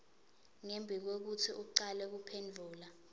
ngembikwekutsi ucale kuphendvula